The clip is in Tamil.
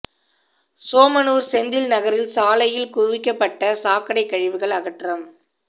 சோமனூர் செந்தில் நகரில் சாலையில் குவிக்கப்பட்ட சாக்கடை கழிவுகள் அகற்றம்